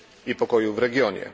i pokoju w regionie.